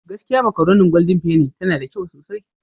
Gaskiya makaronin Golden penny tana da kyau sosai.